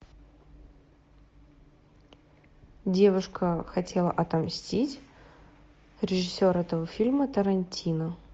девушка хотела отомстить режиссер этого фильма тарантино